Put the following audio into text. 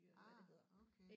Ah okay